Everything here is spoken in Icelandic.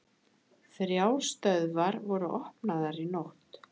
Þrjár stöðvar voru opnaðar í nótt